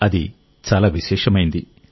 అది చాలా విశేషమైంది